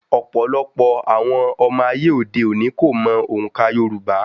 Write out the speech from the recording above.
Ọ̀pọ̀lọpọ̀ àwọn ọmọ ayé òde òni ni kò mọ òǹkà Yorùbá.